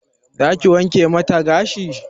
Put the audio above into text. Za ki wanke mata gashi?